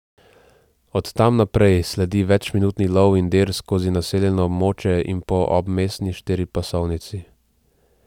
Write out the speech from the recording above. Od tam naprej sledi večminutni lov in dir skozi naseljeno območje in po obmestni štiripasovnici.